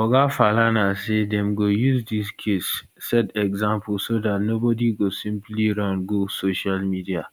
oga falana say dem go use dis case set example so dat nobody go simply run go social media